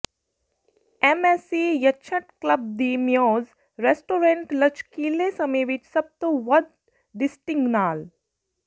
MSc yacht club le muse restaurant ਲਚਕੀਲੇ ਸਮੇਂ ਵਿਚ ਸਭ ਤੋਂ ਵੱਧ ਡਿਸਟਿੰਗ ਨਾਲ